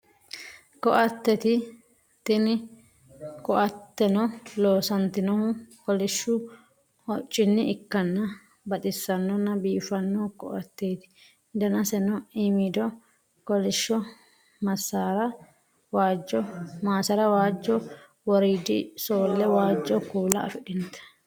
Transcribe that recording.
Ko'atteti tini koatenno loosanitinohu kolishshu hoccinni ikkana baxisanona biifano koatteti danasenno imiddo kolishsho massara waajjo wooriddi soole waajjo kuula afidhinote